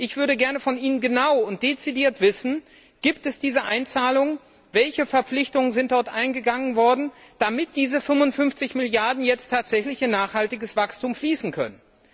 Ich würde gerne von Ihnen genau und dezidiert wissen Gibt es diese Einzahlungen, welche Verpflichtungen sind dort eingegangen worden, damit diese 55 Milliarden Euro jetzt tatsächlich in nachhaltiges Wachstum fließen können?